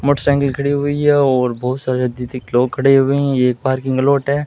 Motorcycle खड़ी हुई है और बहुत सारे अधिक लोग खड़े हुए हैं ये एक पार्किंग लोट है।